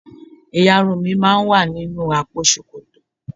Ìyarun mi máa ń wà nínú àpò ṣòkòtò.